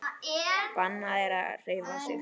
Bannað að hreyfa sig.